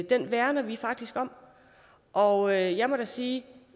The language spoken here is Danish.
det værner vi faktisk om og jeg må da sige at